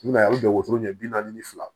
I bɛn'a ye a bɛ jɔ ɲɛ bi naani ni fila